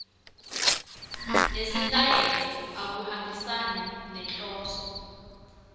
nesitayela akuhambisani nenhloso